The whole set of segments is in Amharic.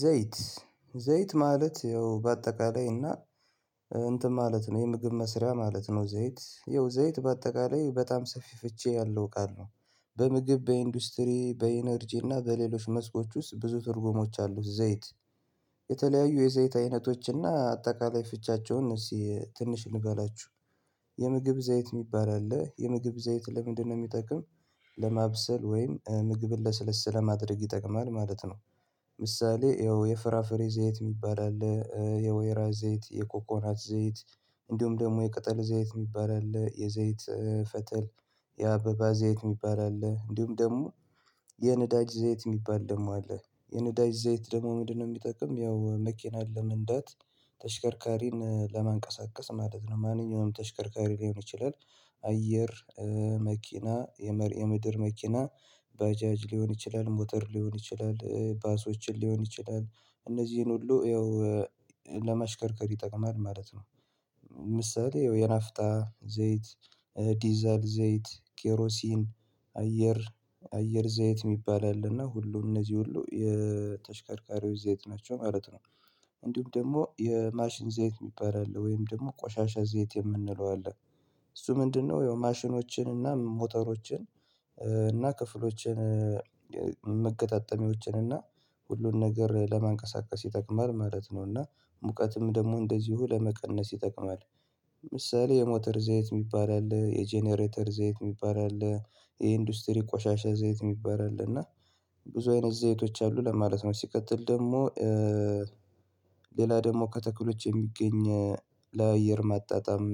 ዘይት ዘይት ማለት ያው በአጠቃላይ እና እንትን ማለት ነው የምግብ መስሪያ ማለት ነው ዘይት ያው ዘይት በአጠቃላይ በጣም ሰፊ ፍቺ ያለው ቃል ነው። በምግብ በኢንዱስትሪ በኢነርጂ እና በሌሎች መስኮች ውስጥ ብዙ ትርጉሞች አሉት ዘይት። የተለያዩ የዘይት አይነቶች አይነቶችና አጠቃላይ ፍቻቸውን እነዚህ ትንሽ እንበላችሁ የምግብ ዘይት የሚባል አለ የምግብ ዘይት ለምንድነው የሚጠቅም? ለማብሰል ወይም ምግብን ለስለስ ለማድረግ ይጠቅማል ማለት ነው። ምሳሌ ይኸው የፍራፍሬ ዘይት የሚባል አለ የወይራ ዘይት የኮኮናት ዘይት። እንዲሁም ደግሞ የቅጠል ዘይት የሚባል አለ የዘይት ፈጠል የአበባ ዘይት የሚባል አለ እንዲሁም ደግሞ። የነዳጅ ዘይት የሚባል ደግሞ አለ የነዳጅ ዘይት ደግሞ ምንድነው? የሚጠቅም ያው መኪናን ለመንዳት ተሽከርካሪን ለማንቀሳቀስ ማለት ነው ማንኛውም ተሽከርካሪ ሊሆን ይችላል። አየር መኪና የምድር መኪና ባጃጅ ሊሆን ይችላል ሞተር ሊሆን ይችላል ባሶችን ሊሆን ይችላል እነዚህን ሁሉ ይኸው ለመሽከርከር ይጠቅማል ማለት ነው። ምሳሌ የናፍጣ ዘይት ዲዛል ዘይት ኬሮሲን አየር አየር ዘይት የሚባል አለና ሁሉም እነዚህ ሁሉ የተሽከርካሪዎች ዘይት ናቸው ማለት ነው። እንዲሁም ደግሞ የማሽን ዘይት የሚባል አለ ወይም ደግሞ ቆሻሻ ዘይት የምንለው አለ። እሱ ምንድነው? የማሽኖችን እና ሞተሮችን እና ክፍሎችን መገጣጠሚዎችን እና ሁሉን ነገር ለማንቀሳቀስ ይጠቅማል ማለት ነውና ሙቀትም ደግሞ እንደዚሁ ለመቀነስ ይጠቅማል። ምሳሌ የሞተር ዘይት የሚባል አለ የጀነሬተር ዘይት የሚባል አለ። የኢንዱስትሪ ቆሻሻ ዘይት የሚባል አለ እና ብዙ አይነት ዘይቶች አሉ ለማለት ነው። ሲቀጥል ደግሞ ሌላ ደግሞ ከተክሎች የሚገኝ ለአየር ማጣጣም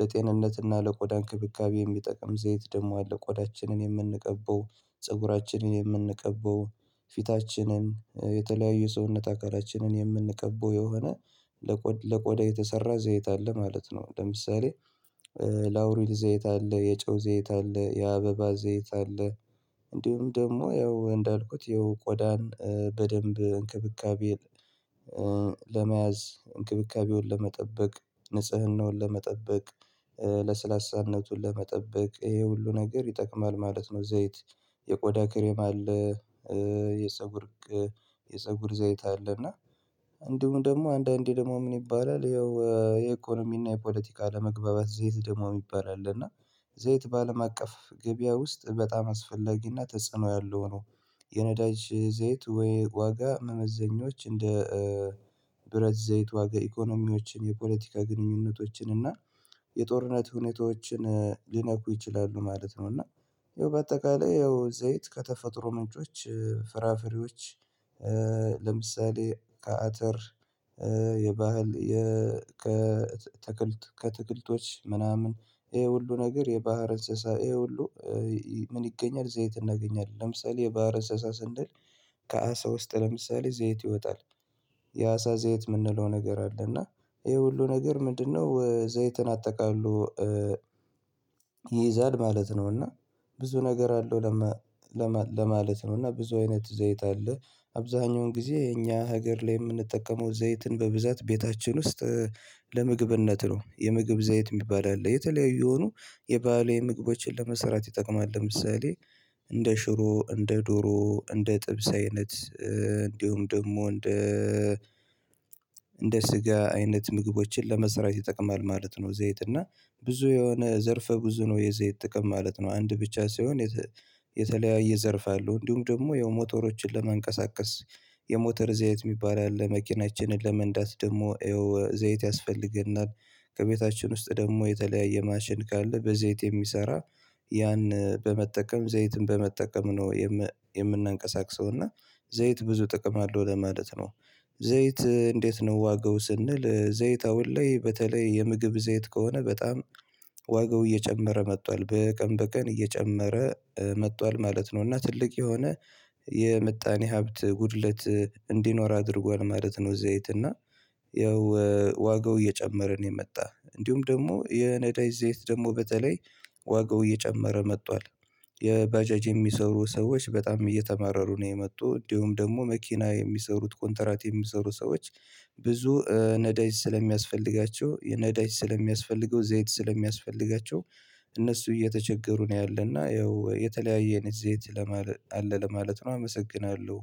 ለጤንነትና ለቆዳ እንክብካቤ የሚጠቅም ዘይት ደግሞ አለ። ቆዳችንን የምንቀበው ፀጉራችንን የምንቀበው ፊታችንን የተለያየ ሰውነት አካላችንን የምንቀበው የሆነ ለቆዳ የተሰራ ዘይት አለ ማለት ነው። ለምሳሌ ላውሪድ ዘይት አለ የጨው ዘይት አለ የአበባ ዘይት አለ። እንዲሁም ደግሞ ያው እንዳልኩት ያው ቆዳን በደንብ እንክብካቤ ለመያዝ እንክብካቤውን ለመጠበቅ ንጽህናውን ለመጠበቅ ለስላሳነቱን ለመጠበቅ ይሄ ሁሉ ነገር ይጠቅማል ማለት ነው። ዘይት የቆዳ ክሬም አለ የፀጉር የፀጉር ዘይት አለ እና እንዲሁ ደግሞ አንዳንዴ ደግሞ ምን ይባላል ይኸው የኢኮኖሚና የፖለቲካ ለመግባባት ዘይት ደግሞ ይባላል እና። ዘይት በአለም አቀፍ ገበያ ውስጥ በጣም አስፈላጊነት ተጽዕኖ ያለው ነው። የነዳጅ ዘይት ወይ ዋጋ መመዘኞች እንደ ብረት ዘይት ዋጋ ኢኮኖሚዎችን የፖለቲካ ግንኙነቶችን እና የጦርነት ሁኔታዎችን ሊነኩ ይችላሉ ማለት ነው። እና በአጠቃላይ ያው ዘይት ከተፈጥሮ ምንጮች ፍራፍሬዎች ለምሳሌ ከአትር የባህል የ ከትክልት ከትክልቶች ምናምን ይሄ ሁሉ ነገር የባህር እንስሳ ይሄ ሁሉ ምን ይገኛል ዘይት እናገኛለን ለምሳሌ የባህር እንስሳ ስንድል ከአሳ ውስጥ ለምሳሌ ዘይት ይወጣል የአሳ ዘይት የምንለው ነገር አለ እና ይሄ ሁሉ ነገር ምንድነው ዘይትን አጠቃልሎ ይይዛል ማለት ነው። እና ብዙ ነገር አለው ለማ ለማለ ለማለት ነው እና ብዙ አይነት ዘይት አለ። አብዛኛውን ጊዜ እኛ ሀገር ላይ የምንጠቀመው ዘይትን በብዛት ቤታችን ውስጥ ለምግብነት ነው። የምግብ ዘይት የሚባል አለ የተለያዩ የሆኑ የባሌ ምግቦችን ለመሰራት ይጠቅማል ለምሳሌ እንደ ሽሮ እንደ ዶሮ እንደ ጥብስ አይነት እንዲሁም ደግሞ እንደ እንደ ስጋ አይነት ምግቦችን ለመሰራት ይጠቅማል ማለት ነው። ዘይት እና ብዙ የሆነ ዘርፈ ብዙ ነው የዘይት ጥቅም ማለት ነው። አንድ ብቻ ሳይሆን የተለያየ ዘርፍ አለው እንዲሁም ደግሞ የሞተሮችን ለመንቀሳቀስ የሞተር ዘይት የሚባል ያለ መኪናችንን ለመንዳት ደግሞ ዘይት ያስፈልገናል ከቤታችን ውስጥ ደግሞ የተለያየ ማሽን ካለ በዘይት የሚሰራ ያን በመጠቀም ዘይትን በመጠቀም ነው። የምናንቀሳቅሰው እና ዘይት ብዙ ጥቅም አለው ለማለት ነው። ዘይት እንዴት ነው ዋጋው ስንል ዘይት አሁን ላይ በተለይ የምግብ ዘይት ከሆነ በጣም ዋጋው እየጨመረ መጥቷል በቀን በቀን እየጨመረ መጥቷል ማለት ነው። እና ትልቅ የሆነ የምጣኔ ሀብት ጉድለት እንዲኖር አድርጓል ማለት ነው። ዘይት እና ያው ዋጋው እየጨመረ ነው የመጣ እንዲሁም ደግሞ የነዳጅ ዘይት ደግሞ በተለይ ዋጋው እየጨመረ መጥቷል። የባጀጅ የሚሰሩ ሰዎች በጣም እየተማረሩ ነው የመጡ እንዲሁም ደግሞ መኪና የሚሰሩት ኮንትራት የሚሰሩ ሰዎች ብዙ ነዳጅ ስለሚያስፈልጋቸው ነዳጅ ስለሚያስፈልገው ዘይት ስለሚያስፈልጋቸው እነሱ እየተቸገሩ ነው። ያለና ያው የተለያየ እኔ ዘይት ለማለት አለ ለማለት ነው። አመሰግናለሁ